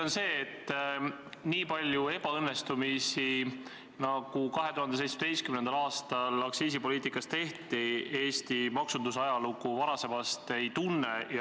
On selge, et nii palju ebaõnnestunud otsuseid, nagu 2017. aastal aktsiisipoliitikas tehti, Eesti maksunduse ajalugu varasemast ei tunne.